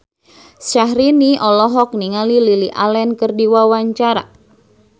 Syahrini olohok ningali Lily Allen keur diwawancara